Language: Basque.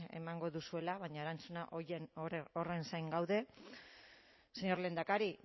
emango duzuela baina erantzuna horren zain gaude señor lehendakari